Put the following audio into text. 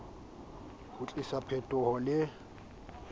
ho tlisa phetoho le ho